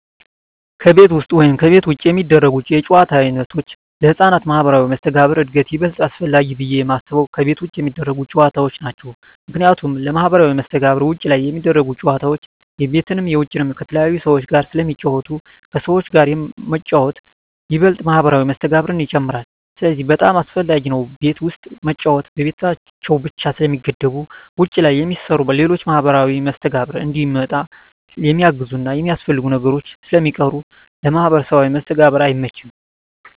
ከቤት ውስጥ ወይም ከቤት ውጭ የሚደረጉ የጨዋታ ዓይነቶች ለሕፃናት ማኅበራዊ መስተጋብር እድገት ይበልጥ አስፈላጊው ብየ የማስበው ከቤት ውጭ የሚደረጉ ጨዎታዎች ናቸው ምክንያቱም ለማህበራዊ መስተጋብር ውጭ ላይ ሚደረጉት ጨወታዎች የቤትንም የውጭንም ከተለያዩ ሰዎች ጋር ስለሚጫወቱ ከሰዎች ጋር መጫወት ይበልጥ ማህበራዊ መስተጋብርን ይጨምራል ስለዚህ በጣም አሰፈላጊ ነው ቤት ውስጥ መጫወት በቤታቸው ብቻ ስለሚገደቡ ውጭ ላይ የሚሰሩ ሌሎች ለማህበራዊ መስተጋብር እንዲመጣ የሚያግዙና የሚያስፈልጉ ነገሮች ስለሚቀሩ ለማህበራዊ መስተጋብር አይመችም።